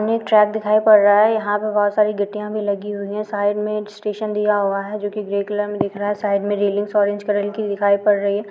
हमे एक ट्रक दिखाई पड़ रहा है यहा पे बोहोत सारी गिट्टिया भी लगी हुई है साइड में एक स्टेशन दिया हुआ है जो की ग्रे कलर में दिख रहा है साइड मै रिलइंग्स ऑरेंज कलर की दिखाई पड़ रही है।